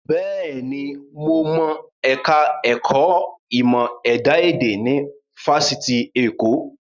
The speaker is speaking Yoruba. Bẹ́ẹ̀ni, mo mọ ẹ̀ka ẹ̀kọ́ ìmọ̀ ẹ̀dá èdè ní Fáṣitì Èkó